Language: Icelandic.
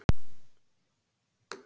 Þetta breytir öllu, sagði hann.